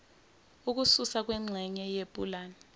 ukususwa kwengxenye yepulani